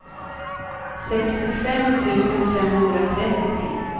sextiofem tusen femhundratrettio